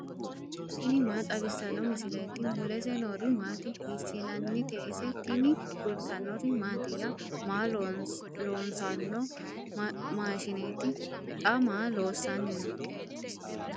tini maa xawissanno misileeti ? mulese noori maati ? hiissinannite ise ? tini kultannori mattiya? Maa loosanno maashshinetti? Xa maa loosanni noo?